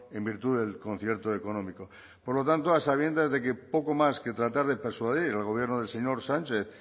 en virtud del concierto económico por lo tanto a sabiendas de que poco más que tratar de persuadir al gobierno del señor sánchez